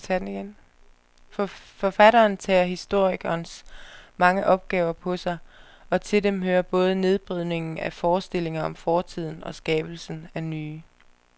Forfatteren tager historikerens mange opgaver på sig, og til dem hører både nedbrydningen af forestillinger om fortiden skabelsen af nye.